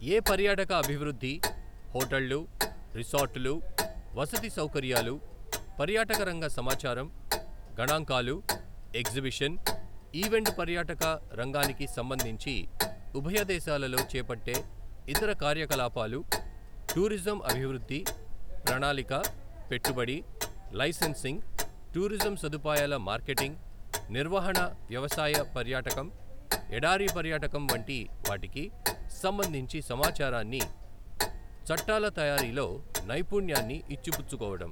ఎ పర్యాటక అభివృద్ధి, హోటళ్లు, రిసార్టులు, వసతి సౌకర్యాలు, పర్యాటకరంగ సమాచారం, గణాంకాలు, ఎగ్జిబిషన్, ఈవెంట్ పర్యాటక రంగానికి సంబంధించి ఉభయదేశాలలో చేపట్టే ఇతర కార్యకలాపాలు, టూరిజం అభివృద్ధి, ప్రణాళక, పెట్టుబడి, లైసెన్సింగ్, టూరిజం సదుపాయాల మార్కెటింగ్, నిర్వహణ, వ్యవసాయ పర్యాటకం, ఎడారి పర్యాటకం వంటి వాటికి సంబంధించి సమాచారాన్ని, చట్టాల తయారీలో నైపుణ్యాన్ని ఇచ్చిపుచ్చుకోవడం.